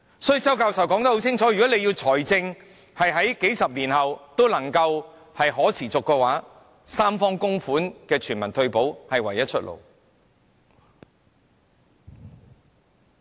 所以，周教授清楚說明，如果政府要維持財政持續數十年，三方供款的全民退保計劃是唯一的出路。